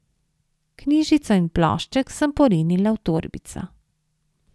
Knjižico in plošček sem porinila v torbico.